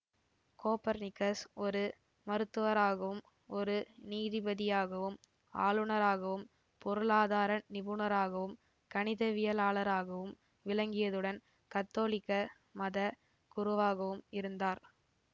Copernicus ஒரு மருத்துவராகவும் ஒரு நீதிபதியாகவும் ஆளுநராகவும் பொருளாதார நிபுணராகவும் கணிதவியலாளராகவும் விளங்கியதுடன் கத்தோலிக்க மத குருவாகவும் இருந்தார்